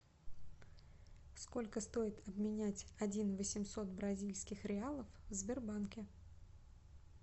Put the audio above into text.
сколько стоит обменять один восемьсот бразильских реалов в сбербанке